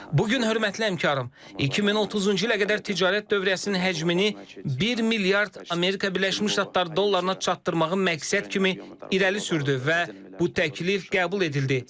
Bu gün hörmətli həmkarm, 2030-cu ilə qədər ticarət dövriyyəsinin həcmini 1 milyard Amerika Birləşmiş Ştatları dollarına çatdırmağı məqsəd kimi irəli sürdü və bu təklif qəbul edildi.